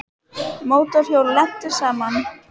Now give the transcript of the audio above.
Mótorhjól lentu saman